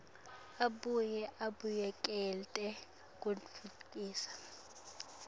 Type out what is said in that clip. abuye abuyekete kutfutfukisa